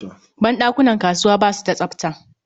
Ban ɗakunan kasuwa ba su da tsafta.